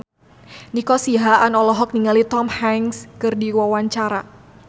Nico Siahaan olohok ningali Tom Hanks keur diwawancara